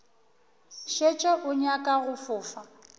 šetše o nyaka go fofa